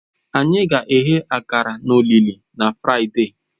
Anyị ga-eghe akara na olili na Fraịde.